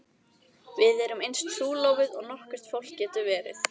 Við erum eins trúlofuð og nokkurt fólk getur verið.